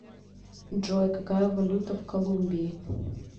джой какая валюта в колумбии